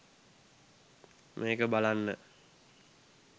මේක බලන්න